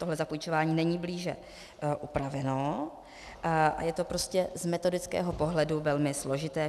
Tohle zapůjčování není blíže upraveno a je to prostě z metodického pohledu velmi složité.